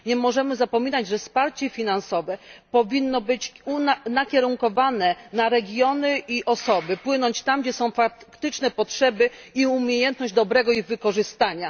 Nie możemy zapominać, że wsparcie finansowe powinno być nakierunkowane na regiony i osoby, płynąć tam, gdzie są faktyczne zarówno potrzeby, jak i umiejętność dobrego ich wykorzystania.